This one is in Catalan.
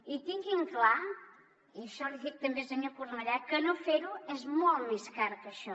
i tinguin clar i això l’hi dic també senyor cornellà que no fer ho és molt més car que això